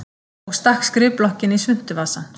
Og stakk skrifblokkinni í svuntuvasann.